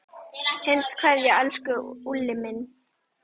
HINSTA KVEÐJA Elsku Úlli minn.